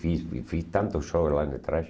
Fiz e fiz tantos shows lá na trash.